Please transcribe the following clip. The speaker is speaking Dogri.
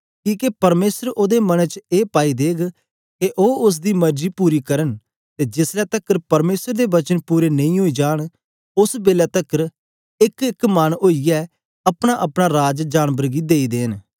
किके परमेसर ओदे मने च ए पाई देग के ओ उस्स दी मर्जी पूरी करन ते जेस ले तकर परमेसर दे वचन पूरे नेई ओई जान ओस बेलै तकर एक इक मन ओईयै अपना अपना राज जानबर गी देई देन